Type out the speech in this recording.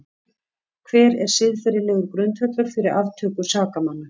Hver er siðferðilegur grundvöllur fyrir aftöku sakamanna?